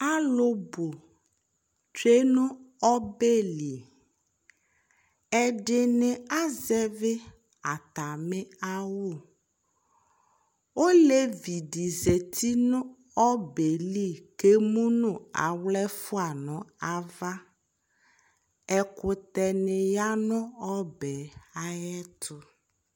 Alu bu tsue no ɔbɛ li Ɛdene azɛve atane awu Olevi de zati no ɔbɛɛ li ko emu no awla ɛfua no ava Ɛkutɛ ne ya no ɔbɛ ayeto